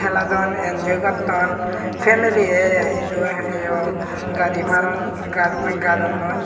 heladon enjoy gotton femeliye idu eyo gadi paron gad gadonnoi.